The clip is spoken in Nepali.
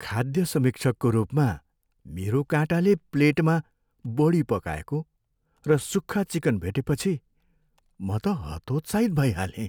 खाद्य समीक्षकको रूपमा, मेरो काँटाले प्लेटमा बढी पकाएको र सुक्खा चिकन भेटेपछि, म त हतोत्साहित भइ हालेँ ।